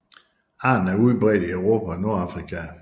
Arten er udbredt i Europa og Nordafrika